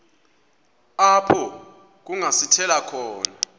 apho kungasithela khona